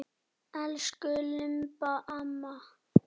Elsku Imba amma.